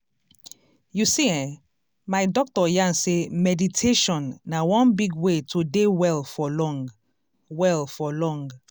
you see eh my doctor yarn sey meditation na one big way to dey well for long. well for long.